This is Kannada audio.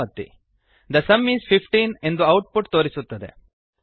the sum is 15 the sum is fifteen ಎಂದು ಔಟ್ ಪುಟ್ ತೋರಿಸುತ್ತದೆ